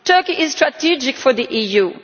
Turkey is strategic for the EU.